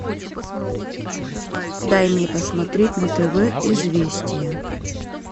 дай мне посмотреть на тв известия